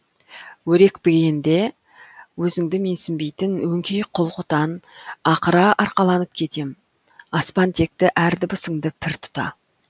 өрекпігенде өзіңді менсінбейтін өңкей құл құтан ақыра арқаланып кетем аспантекті әр дыбысыңды пір тұта